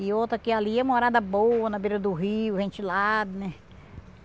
E outra que ali é morada boa, na beira do rio, ventilado, né?